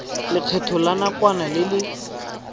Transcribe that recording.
lekgetho la nakwana le le